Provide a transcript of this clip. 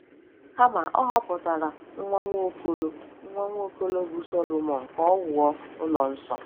Kama, Ọ họpụtara nwa Nwaokolo nwa Nwaokolo bụ́ Solomọn ka o wuo ụlọ nsọ.